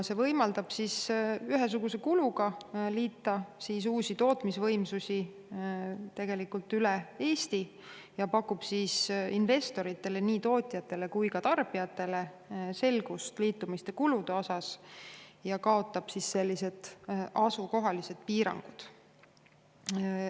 See võimaldab ühesuguse kuluga liita uusi tootmisvõimsusi tegelikult üle Eesti ja pakub investoritele, nii tootjatele kui ka tarbijatele selgust liitumiste kulude kohta ja kaotab asukohalised piirangud.